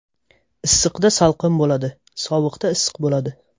Issiqda salqin bo‘ladi, sovuqda issiq bo‘ladi.